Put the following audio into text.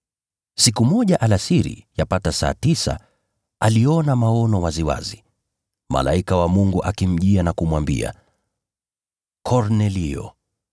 Siku moja alasiri, yapata saa tisa, aliona maono waziwazi, malaika wa Mungu akimjia na kumwambia, “Kornelio!”